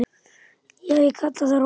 Já, ég kalla það rólegt.